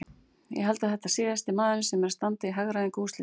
Ég held að þetta sé síðasti maðurinn sem er að standa í hagræðingu úrslita.